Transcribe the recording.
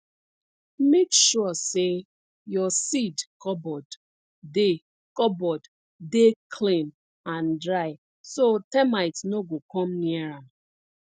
make sure say your seed cupboard dey cupboard dey clean and dry so termite no go come near am